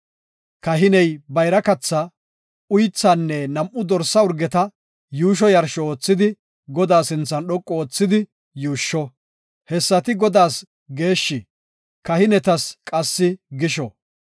Kahiney bayra kathaa, uythaanne nam7u dorsa urgeta yuusho yarsho oothidi, Godaa sinthan dhoqu oothidi yuushsho. Hessati Godaas geeshshi; kahinetas qassi gisho.